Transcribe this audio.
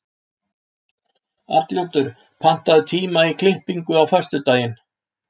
Arnljótur, pantaðu tíma í klippingu á föstudaginn.